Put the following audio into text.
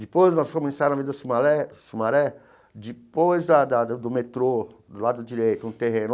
Depois nós fomos ensaiar na Avenida Sumaré Sumaré, depois da da do metrô, do lado direito, um terreno.